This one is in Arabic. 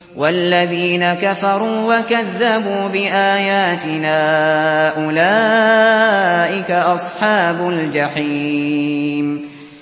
وَالَّذِينَ كَفَرُوا وَكَذَّبُوا بِآيَاتِنَا أُولَٰئِكَ أَصْحَابُ الْجَحِيمِ